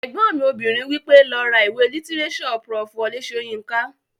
Ẹ̀gbọ́n mi obìnrin wí pé "lọ ra ìwé lítírésọ̀ Prof. Wọlé Sóyinká!"